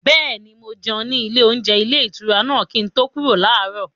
Bẹ́ẹ̀ni, mo jẹun ní ilé-oúnjẹ ilé-ìtura náà kí n tó kúrò láàárọ̀.